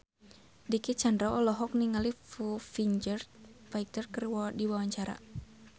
Dicky Chandra olohok ningali Foo Fighter keur diwawancara